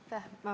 Aitäh!